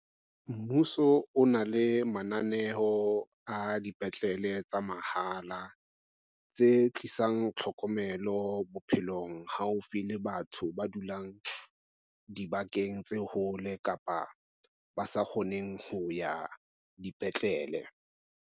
Mmuso o na le mananeo a dipetlele tsa mahala tse tlisang tlhokomelo bophelong haufi le batho ba dulang dibakeng tse hole kapa ba sa kgoneng ho ya dipetlele.